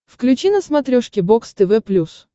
включи на смотрешке бокс тв плюс